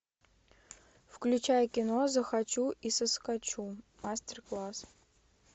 включай кино захочу и соскочу мастер класс